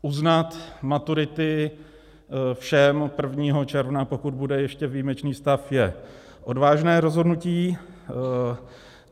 Uznat maturity všem 1. června, pokud bude ještě výjimečný stav, je odvážné rozhodnutí.